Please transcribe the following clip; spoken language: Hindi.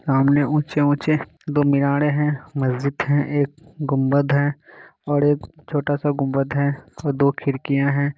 सामने ऊँचे-ऊँचे दो मिनारे हैं मस्जिद है एक गुम्मद है और एक छोटा-सा गुम्मद है और दो खिड़कियां है।